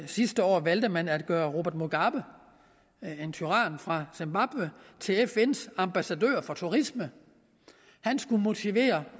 sidste år valgte man at gøre robert mugabe en tyran fra zimbabwe til fns ambassadør for turisme han skulle motivere